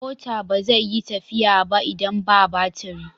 Mota ba zai yi tafiya ba idan ba batiri.